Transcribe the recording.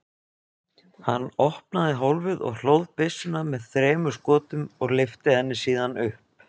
Hann opnaði hólfið og hlóð byssuna með þremur skotum og lyfti henni síðan upp.